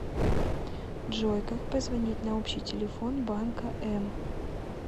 джой как позвонить на общий телефон банка м